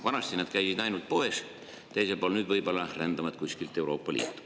Vanasti nad käisid ainult poes teisel pool, nüüd võib-olla rändavad kuskilt Euroopa Liitu.